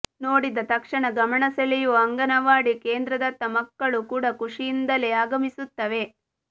ನೋಡಿದ ತಕ್ಷಣ ಗಮನಸೆಳೆಯುವ ಅಂಗನವಾಡಿ ಕೇಂದ್ರದತ್ತ ಮಕ್ಕಳು ಕೂಡ ಖುಷಿಯಿಂದಲೇ ಆಗಮಿಸುತ್ತವೆ